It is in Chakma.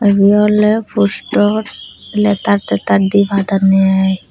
ibe awle postor letar tetar dipadanne aai.